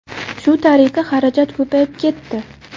Shu tariqa xarajat ko‘payib ketdi.